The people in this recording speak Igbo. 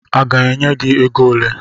Ị ga-enye m ego ole?